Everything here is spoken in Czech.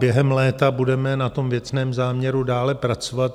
Během léta budeme na tom věcném záměru dále pracovat.